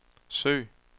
søg